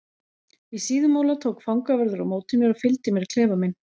Í Síðumúla tók fangavörður á móti mér og fylgdi mér í klefa minn.